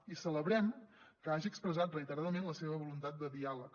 i celebrem que hagi expressat reiteradament la seva voluntat de diàleg